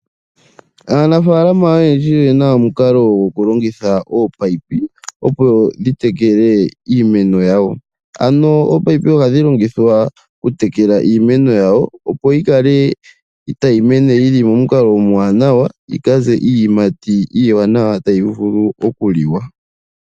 Aanafaaalama oyendji oyena omukalo gokulongitha ominino opo dhi tekele iimeno yawo. Ano ominino ohadhi longithwa okutekela iimeno yawo opo yi kale tayi mene yili momukalo omwaanawa yi ka ze iiyimati iiwanawa tayi vulu okuliwa.